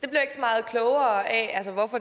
tak